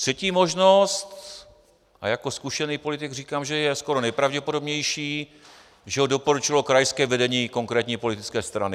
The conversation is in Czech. Třetí možnost - a jako zkušený politik říkám, že je skoro nejpravděpodobnější - že ho doporučilo krajské vedení konkrétní politické strany.